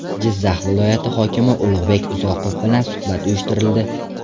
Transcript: Jizzax viloyati hokimi Ulug‘bek Uzoqov bilan suhbat uyushtirildi.